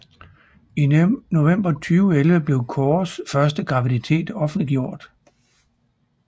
I november 2011 blev Corrs første graviditet offentliggjort